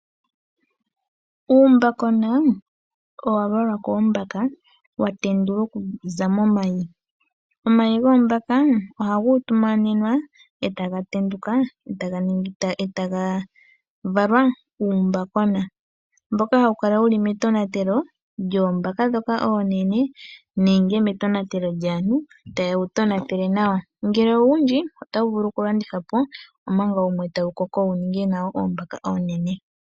Uumbakona owa valwa koombaka, wa tendulwa okuza momayi. Omayi goombaka ohaga utumanenwa e ta ga tenduka e taga valwa uumbakona , mboka hawu kala wu li metonatelo lyoombaka ndhoka oonene nenge metonatelo lyaantu ta ye wu tonatele nawa. Ngele owundji otawu vulu okulandithwa po, omanga wumwe tawu koko wu ninge oombaka oonene.